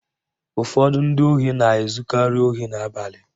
Ụfọdụ ndị ohi na-ezukari ohi n'abalị